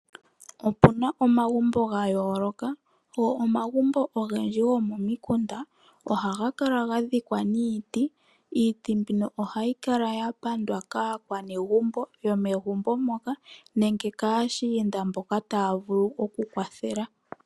Opuna omagumbo ga yooloka go omagumbo ogendji gomomikunda, go omagumbo ogendji gomomikunda ohaga kala ga thikwa niiti. Iiti mbino ohayi kala ya pandwa kaanegumbo nenge kaashiinda mboka taa vulu oku kwathela.